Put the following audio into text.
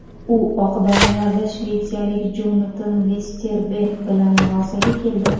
U oq donalarda shvetsiyalik Jonatan Vesterberg bilan murosaga keldi.